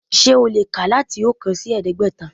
Sé o lè kà láti oókan sí ẹ̀ẹ́dẹ́gbẹ̀ta